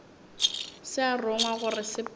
se a rongwa gore sepela